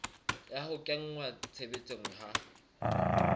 ya ho kenngwa tshebetsong ha